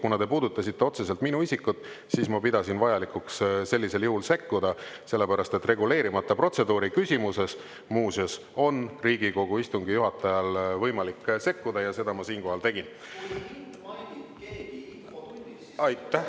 Kuna te puudutasite otseselt minu isikut, siis ma pidasin vajalikuks sellisel juhul sekkuda, sellepärast, et reguleerimata protseduuri küsimuses, muuseas, on Riigikogu istungi juhatajal võimalik sekkuda ja seda ma siinkohal tegin.